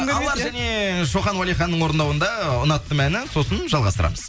алар және шоқан уәлиханның орындауында ұнаттым әні сосын жалғастырамыз